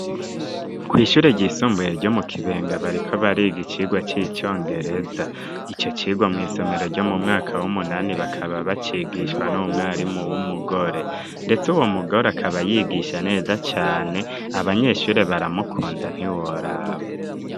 Kw'ishure ryisumbuye ryo mu Kibenga bariko bariga icigwa c'icongereza, ico cigwa mw'isomero ryo mu mwaka w'umunani bakaba bacigishwa n'umwarimu w'umugore, ndetse uwo mugore akaba yigisha neza cane abanyeshure baramukunda ntiworaba